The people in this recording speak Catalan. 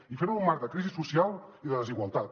i ferho en un marc de crisi social i de desigualtat